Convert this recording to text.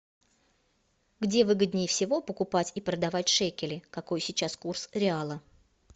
где выгоднее всего покупать и продавать шекели какой сейчас курс реала